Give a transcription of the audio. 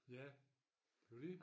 Ja det jo dét